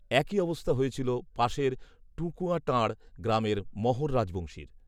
একই অবস্থা হয়েছিল পাশের টকূয়াটাঁড় গ্রামের মহোর রাজবংশীর